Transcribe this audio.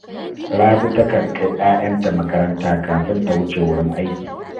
Rabi takan kai ‘ya’yanta makaranta kafin ta wuce wurin aiki